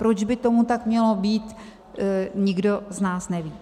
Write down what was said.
Proč by tomu tak mělo být, nikdo z nás neví.